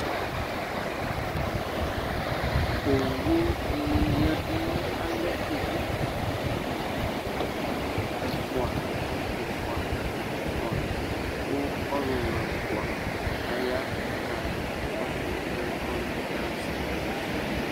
owu ni ya du no alɛ ɛfua ɛfua ɛfua kò ɔlòlò ɛfua aya k'aka kɔsu anɛ k'ɔluna yɛ ka ɣa sɛ